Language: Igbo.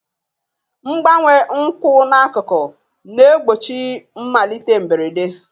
Mgbanwe nkwụ n'akụkụ na-egbochi mmalite mberede.